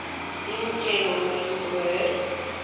in general use the word